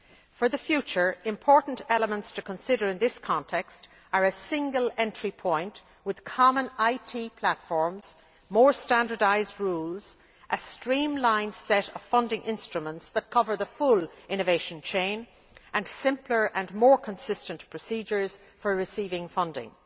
For the future, important elements to consider in this context are a single entry point with common IT platforms, more standardised rules, a streamlined set of funding instruments that cover the full innovation chain, and simpler and more consistent procedures for receiving funding.